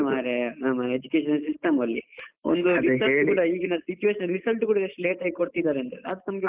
ಅವಸ್ಥೆ ಮರ್ರೆ ನಮ್ಮ Education system ಅಲ್ಲಿ ಈಗಿನ situation ಗೆ result ಕೂಡ ಎಷ್ಟು late ಆಗಿ ಕೊಡ್ತಿದ್ದಾರೆ .